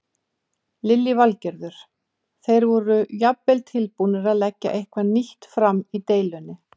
Lillý Valgerður: Þeir voru jafnvel tilbúnir að leggja eitthvað nýtt fram í deilunni?